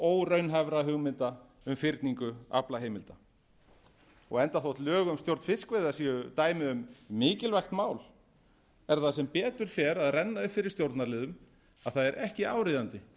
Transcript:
og óraunhæfra hugmynda um fyrningu aflaheimilda enda þótt lög um stjórn fiskveiða séu dæmi um mikilvægt mál er það sem betur fer að renna upp fyrir stjórnarliðum að það er ekki áríðandi